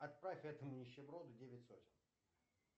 отправь этому нищеброду девять сотен